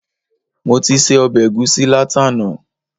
Mo ti se ọbẹ̀ ẹ̀gusí látàná